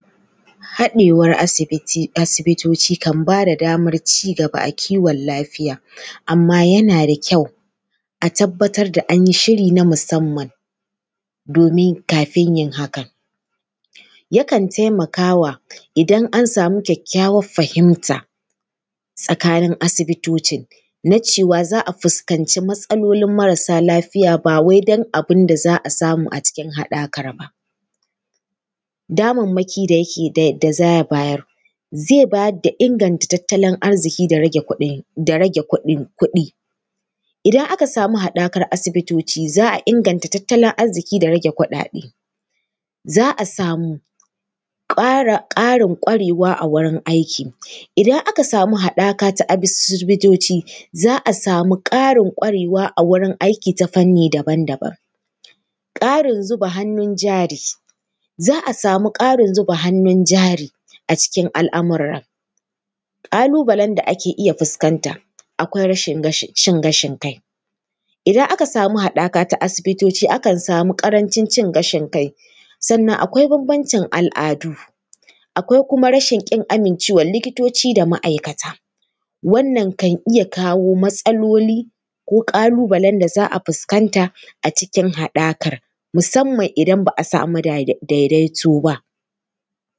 Haɗewar asibiti, asibitoci kan ba da ba da damar ci gaba a kiwon lafiya, amma yana da kyau a tabbatar da an yi shiri na musamman domin kafin yin hakan. Yakan taimakawa, idan an samu kyakkyawar fahimta tsakanin asibitocin, na cewa za a fuskanci matsalolin marasa lafiya ba wai don abin da za a samu a cikin haɗakar ba. Damammaki da yake… za ya bayar, zai bayar da inganta tattalin arziki da rage kuɗin... kuɗi. Idan aka samu haɗakar asibitoci za a inganta tattalin arziki da rage kuɗaɗe. Za a samu ƙarin ƙwarewa a wurin aiki. Idan aka samu haɗaka ta asibitoci, za a samu ƙarin ƙwarewa a wurin aiki ta fanni daban daban. Ƙarin zuba hannun jari, za a samu ƙarin zuba hannun jari a cikin al’amuran. Ƙalu-balen da ake iya fuskanta, akwai rashin cin gashin kai.. Idan aka samu haɗaka ta asibitoci, akan samu ƙarancin cin gashin kai. Sannan akwai bambancin al’adu. Akwai kuma rashin ƙin amincewar likitoci da ma’aikata. Wannan kan iya kawo matsaoli, ko ƙalu-balen da za a fuskanta a cikin haɗakar, musamman idan ba a samu daidaito ba.